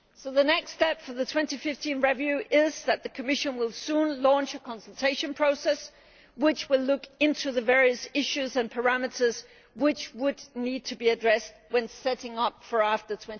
The next step for the 2015 review is that the Commission will soon launch a consultation process which will look into the various issues and parameters which would need to be addressed when setting a target for after